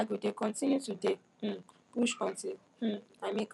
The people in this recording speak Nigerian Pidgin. i go dey continue to dey um push untill um i make am